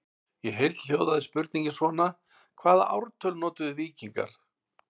Í heild hljóðaði spurningin svona: Hvaða ártal notuðu víkingar?